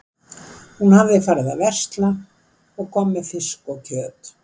Hún hafði farið að versla og kom með fisk og kjöt.